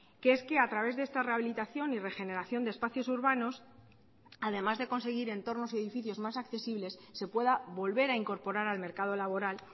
que es que a través de esta rehabilitación y regeneración de espacios urbanos además de conseguir entornos y edificios más accesibles se pueda volver a incorporar al mercado laboral